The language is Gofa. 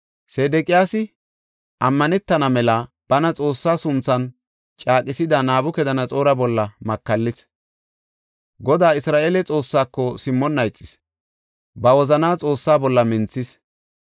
Sedeqiyaasi, ammanetana mela bana Xoossa sunthan caaqisida Nabukadanaxoora bolla makallis. Godaa, Isra7eele Xoossaako simmonna ixis; ba wozana Xoossa bolla minthis.